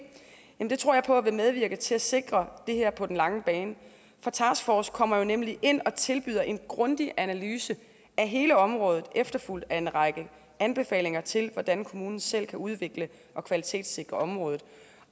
vil medvirke til at sikre det her på den lange bane for taskforcen kommer netop ind og tilbyder en grundig analyse af hele området efterfulgt af en række anbefalinger til hvordan kommunen selv kan udvikle og kvalitetssikre området